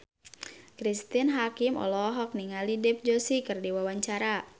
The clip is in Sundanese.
Cristine Hakim olohok ningali Dev Joshi keur diwawancara